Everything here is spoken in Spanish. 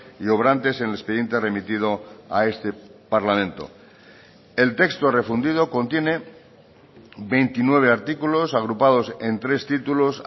y obrantes en el expediente remitido a este parlamento el texto refundido contiene veintinueve artículos agrupados en tres títulos